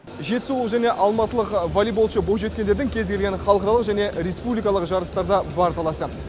жетісулық және алматылық волейболшы бойжеткендердің кез келген халықаралық және республикалық жарыстарда бар таласы